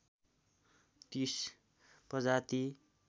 ३० प्रजाति